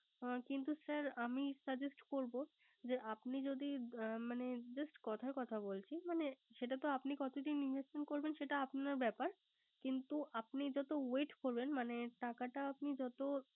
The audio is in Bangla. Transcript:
হুম কিন্তু sir suggest করব। যে যদি মানে Just কথার কথা বলছি মানে সেটাতে আপনি কতটা Invest করবেন সেটা আপনার ব্যাপার। কিন্তু আপনি যত Wait করবেন। মানে টাকাটা আপনি যত